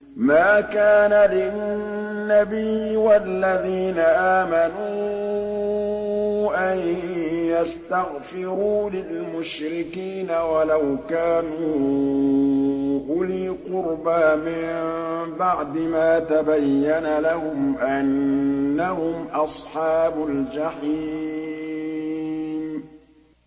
مَا كَانَ لِلنَّبِيِّ وَالَّذِينَ آمَنُوا أَن يَسْتَغْفِرُوا لِلْمُشْرِكِينَ وَلَوْ كَانُوا أُولِي قُرْبَىٰ مِن بَعْدِ مَا تَبَيَّنَ لَهُمْ أَنَّهُمْ أَصْحَابُ الْجَحِيمِ